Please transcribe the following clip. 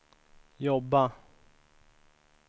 jobba